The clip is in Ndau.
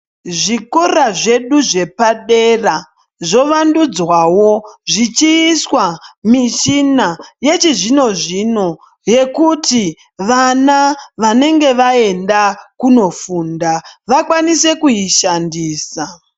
Zvikora zvedu zvepadera zvovandudzwawo zvichiiswa mishina yechizvino-zvino yekuti vana vanenge vaenda kunofunda vakwanise kuishandisa.